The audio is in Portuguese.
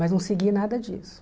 Mas não segui nada disso.